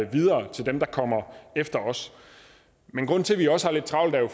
videre til dem der kommer efter os grunden til at vi også har lidt travlt er jo